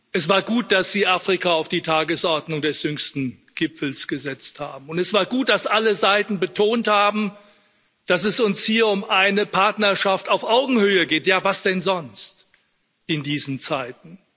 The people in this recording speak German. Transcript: Es war gut, dass Sie Afrika auf die Tagesordnung des jüngsten Gipfels gesetzt haben, und es war gut, dass alle Seiten betont haben, dass es uns hier um eine Partnerschaft auf Augenhöhe geht ja was denn sonst in diesen Zeiten?